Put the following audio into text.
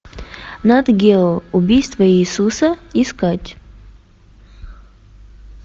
нат гео убийство иисуса искать